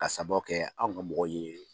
Ka sababu kɛ anw ka mɔgɔ ye